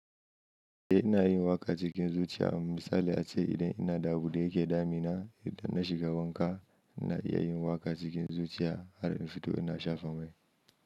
Eh ina yin waƙa cikin zuciya. Misali ace idan ina da abu da yake damina, idan na shiga wanka ina iya yin waƙa cikin zuciya har in fito ina shafa mai.